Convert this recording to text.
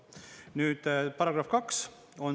Nüüd, § 2.